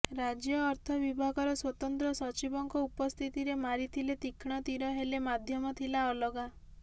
ରାଜ୍ୟ ଅର୍ଥ ବିଭାଗର ସ୍ୱତନ୍ତ୍ର ସଚିବଙ୍କ ଉପସ୍ଥିତିରେ ମାରିଥିଲେ ତୀକ୍ଷ୍ଣ ତୀର ହେଲେ ମାଧ୍ୟମ ଥିଲା ଅଲଗା